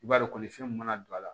I b'a dɔn kɔni fɛn min mana don a la